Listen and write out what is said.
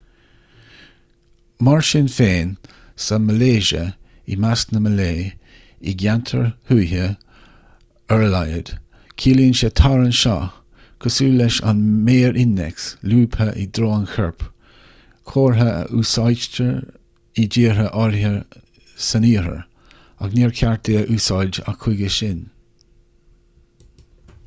mar sin féin sa mhalaeisia i measc na malaeis i gceantair thuaithe ar a laghad ciallaíonn sé tar anseo cosúil leis an méar innéacs lúbtha i dtreo an choirp comhartha a úsáidtear i dtíortha áirithe san iarthar agus níor cheart é a úsáid ach chuige sin